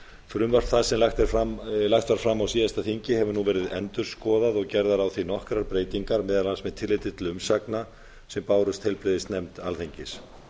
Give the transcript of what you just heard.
frumvarp það sem lagt var fram á síðasta þingi hefur nú verið endurskoðað og gerðar á því nokkrar breytingar meðal annars með tilliti til umsagna sem bárust heilbrigðisnefnd alþingis